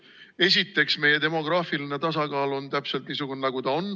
Esiteks, meie demograafiline tasakaal on täpselt niisugune, nagu ta on.